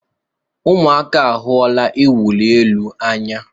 Ụmụaka ahụla iwụli elu n'anya.